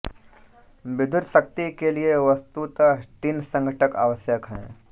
विद्युत् शक्ति के लिए वस्तुत तीन संघटक आवश्यक हैं